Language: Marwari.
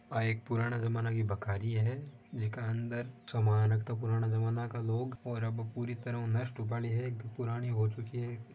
आ एक पुराने जमाने की बखारी है जिके अंदर सामान रखता पुराना जमाने के लोग और अब पुरी तरह उ नष्ट होवा ली है पुरानी हो चुकी है।